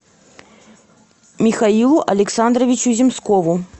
михаилу александровичу земскову